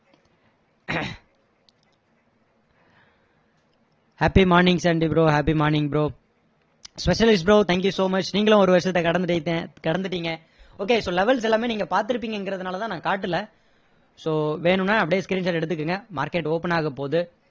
happy morning சண்டி bro happy morning bro bro thank you so much நீங்களும் ஒரு வருஷத்தை கடந்துட்~ கடந்துட்டீங்க okay so levels எல்லாமே நீங்க பார்த்து இருப்பீங்கன்றதுனால நான் காட்டலை so வேணும்னா அப்படியே screenshot எடுத்துகோங்க market open ஆக போகுது